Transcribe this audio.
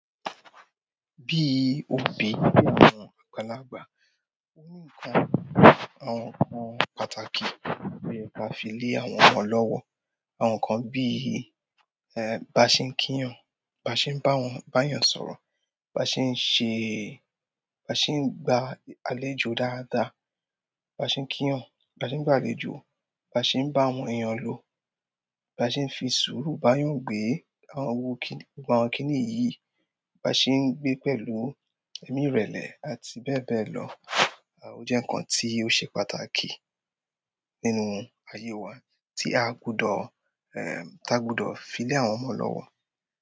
Bí i obìn tó làgbà, àwọn nǹkan pàtàkì ló yẹ fi lé àwọn ọmọ lọ́wọ́. Àwọn nǹkan bíi: báa ṣe ń kíyàn, báa ṣe ń báyàn sọ̀rọ̀ báa ṣe ń ṣe báa ṣe ń gba. Àlejò dáadáa, bá ṣe ń kí wọn, bá ṣe ń gbàlejò, bá ṣe ń bá àwọn èèyàn lò, bá ṣe ń fi sùúrù bá yàn gbé àwọn owo kíni, gba àwọn kíni yìí, bá ṣe ń gbé pẹ̀lú ẹ̀míìrẹlẹ̀ àti bẹ́ẹ̀ bẹ́ẹ̀ lọ. Ó jẹ́ nǹkan tí ó ṣe pàtàkì nínú ayé wa tí a gbudọ̀, ẹm, tí a gbudọ̀ fi lé àwọn ọmọ lọ́wọ́.